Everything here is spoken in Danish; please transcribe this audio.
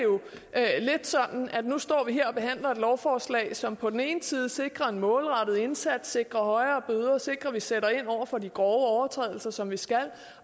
er jo lidt sådan at nu står vi her og behandler et lovforslag som på den ene side sikrer en målrettet indsats sikrer højere bøder sikrer at vi sætter ind over for de grove overtrædelser som vi skal